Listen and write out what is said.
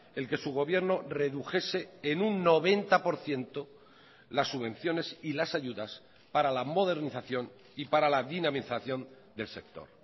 el que su gobierno redujese en un noventa por ciento las subvenciones y las ayudas para la modernización y para la dinamización del sector